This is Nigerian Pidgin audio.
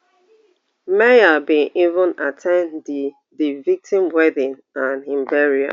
meher bin even at ten d di di victim wedding and im burial